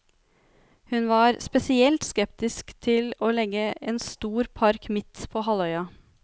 Hun var spesielt skeptisk til å legge en stor park midt på halvøya.